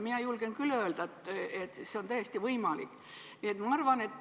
Mina julgen küll öelda, et see on täiesti võimalik.